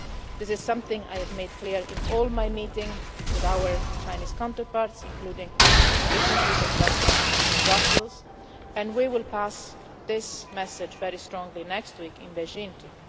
This is something I have made clear in all my meetings with our Chinese counterparts including recently just last month in Brussels, and we will pass this message very strongly next week in Beijing too.